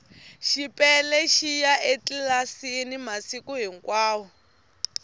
xipele xiya etlilasini masiku hinkwavo